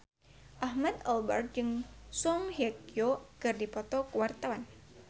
Ahmad Albar jeung Song Hye Kyo keur dipoto ku wartawan